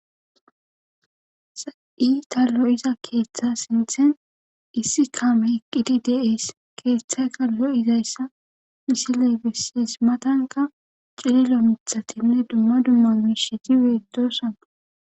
sa7i ta llo7iza keeththa sinthen issi kame eqqidi deees keeththayka lo7izayssa misiley bessees matanka cililo mithatinne dumma dumma betosona